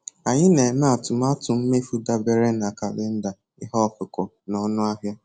Anyị na-eme atụmatụ mmefu dabere na kalịnda ihe ọkụkụ na ọnụ ahịa